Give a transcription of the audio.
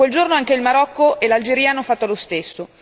Da quel giorno anche il Marocco e l'Algeria hanno fatto lo stesso.